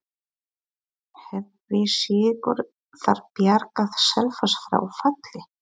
Hefði sigur þar bjargað Selfoss frá falli?